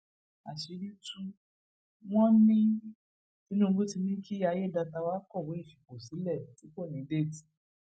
àṣírí tù wọn ní tinubu tí ní kí ayédètàwá kọwé ìfipò sílẹ tí kò ní déètì